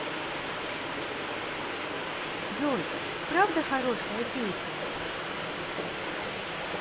джой правда хорошая песня